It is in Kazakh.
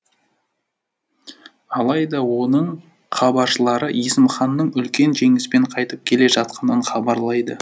алайда оның хабаршылары есім ханның үлкен жеңіспен қайтып келе жатқанын хабарлайды